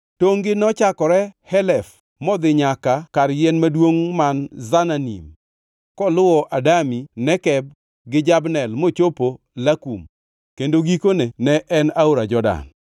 Tongʼ-gi nochakore Helef modhi nyaka kar yien maduongʼ man Zananim, koluwo Adami Nekeb gi Jabnel mochopo Lakum kendo gikone ne en aora Jordan.